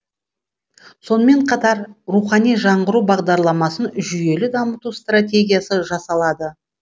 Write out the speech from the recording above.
сонымен қатар рухани жаңғыру бағдарламасын жүйелі дамыту стратегиясы жасалады